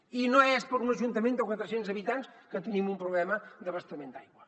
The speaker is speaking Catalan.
i no és per un ajuntament de quatre cents habitants que tenim un problema d’abastament d’aigua